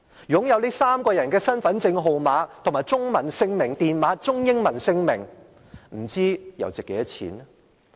擁有這3個人的身份證號碼、中文姓名電碼和中英文姓名，不知道又值多少錢呢？